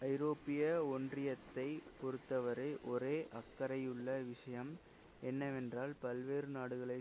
ஐரோப்பிய ஒன்றியத்தைப் பொறுத்தவரை ஒரே அக்கரையுள்ள விஷயம் என்னவென்றால் பல்வேறு நாடுகளை